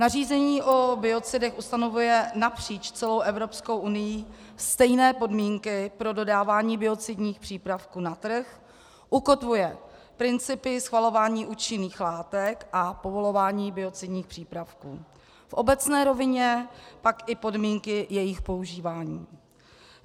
Nařízení o biocidech ustanovuje napříč celou Evropskou unií stejné podmínky pro dodávání biocidních přípravků na trh, ukotvuje principy schvalování účinných látek a povolování biocidních přípravků, v obecné rovině pak i podmínky jejich používání.